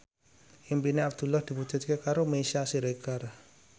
impine Abdullah diwujudke karo Meisya Siregar